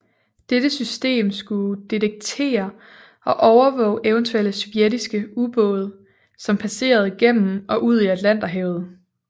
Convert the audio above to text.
Dette system skulle detektere og overvåge eventuelle sovjetiske ubåde som passerede igennem og ud i Atlanterhavet